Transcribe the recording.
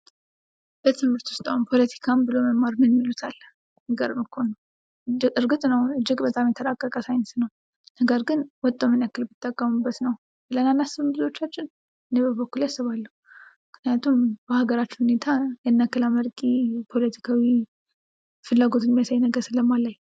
በትምህርት ውስጥ አሁን ፖለቲካን ብሎ መማር ምን ይሉታል? የሚገርም እኮ ነው። እርግጥ ነው እጅግ በጣም የተራቀቀ ሳይንስ ነው። ነገር ግን ወጠው ምን ያክል ቢጠቀሙበት ነው? ብለን አናስብም ብዙዎቻችን? እኔ በበኩሌ አስባለሁ። ምክንያቱም በሀገራችን ሁኔታ ያን ያክል አመርቂ ፖለቲካዊ ፍላጎት የሚያሳይ ነገር ስለማላይ።